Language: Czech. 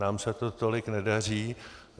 Nám se to tolik nedaří.